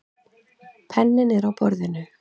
Penninn er á borðinu.